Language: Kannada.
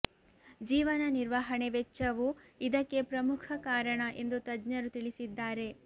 ಜೀವನ ನಿರ್ವಹಣೆ ವೆಚ್ಚವೂ ಇದಕ್ಕೆ ಪ್ರಮುಖ ಕಾರಣ ಎಂದು ತಜ್ಞರು ತಿಳಿಸಿದ್ದಾರೆ